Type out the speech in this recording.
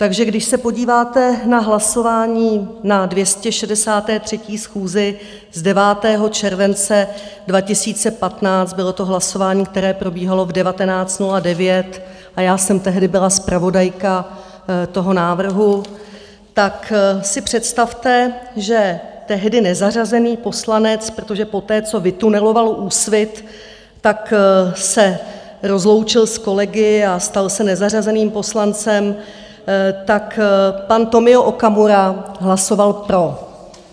Takže když se podíváte na hlasování na 263. schůzi z 9. července 2015, bylo to hlasování, které probíhalo v 19.09 a já jsem tehdy byla zpravodajka toho návrhu, tak si představte, že tehdy nezařazený poslanec - protože poté co vytuneloval Úsvit, tak se rozloučil s kolegy a stal se nezařazeným poslancem - tak pan Tomio Okamura hlasoval pro.